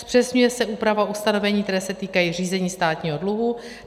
Zpřesňuje se úprava ustanovení, která se týkají řízení státního dluhu.